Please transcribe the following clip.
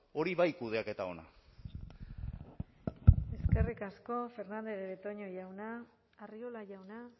hori bai kudeaketa ona eskerrik asko fernandez de betoño jauna arriola jauna